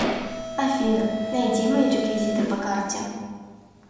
афина найди мои реквизиты по карте